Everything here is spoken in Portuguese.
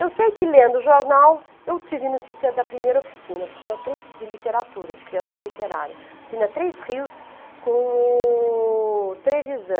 Eu sei que lendo jornal, eu tive notícia da primeira oficina, oficina três de literatura, de criação literária, oficina três Rios com o Trevisan.